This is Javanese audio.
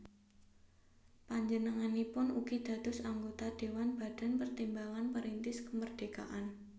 Panjenenganipun ugi dados anggota Dhéwan Badan Pertimbangan Perintis Kemerdekaan